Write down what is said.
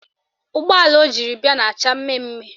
Ụgbọala o jiri bịa na-acha mmemme mmemme